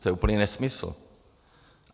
To je úplný nesmysl.